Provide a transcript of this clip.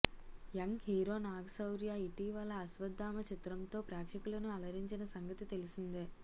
young hero Naga Shaurya ఇటీవల అశ్వద్ధామ చిత్రంతో ప్రేక్షకులను అలరించిన సంగతి తెలిసిందే